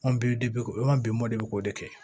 An bɛɛ de bɛ an bɛɛ mɔ de bɛ k'o de kɛ